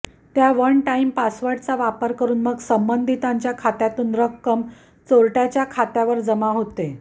त्या one time पासवर्डचा वापर करुन मग संबंधितांच्या खात्यातून रक्कम चोरटय़ाच्या खात्यावर जमा होते